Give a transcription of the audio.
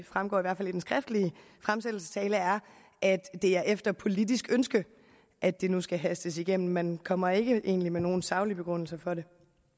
fremgår af den skriftlige fremsættelsestale er at det er efter politisk ønske at det nu skal hastes igennem man kommer egentlig ikke med nogen saglig begrundelse for det